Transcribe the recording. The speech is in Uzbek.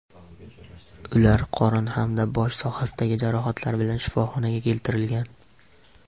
Ular qorin hamda bosh sohasidagi jarohatlar bilan shifoxonaga keltirilgan.